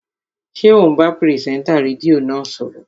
Ṣé ò ń bá pìrìsẹ́ńtà rédíò náà sọ̀rọ̀?